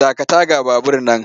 Dakata ga babur nan!